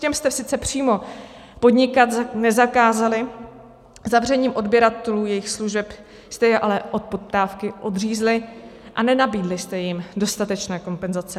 Těm jste sice přímo podnikat nezakázali, zavřením odběratelů jejich služeb jste je ale od poptávky odřízli a nenabídli jste jim dostatečné kompenzace.